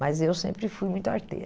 Mas eu sempre fui muito arteira.